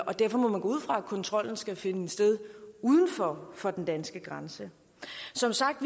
og derfor må man gå ud fra at kontrollen skal finde sted uden for for den danske grænse som sagt